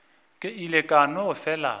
ke ile ka no fela